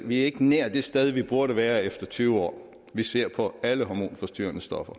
vi ikke nær er det sted vi burde være efter tyve år vi ser på alle hormonforstyrrende stoffer